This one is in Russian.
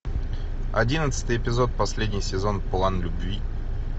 одиннадцатый эпизод последний сезон план любви